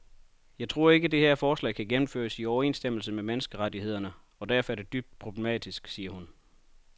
Jeg tror ikke, det her forslag kan gennemføres i overensstemmelse med menneskerettighederne og derfor er det dybt problematisk, siger hun.